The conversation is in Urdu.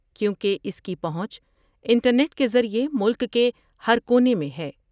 کیونکہ اس کی پہونچ انٹرنیٹ کے ذریعے ملک کے ہر کونے میں ہے ۔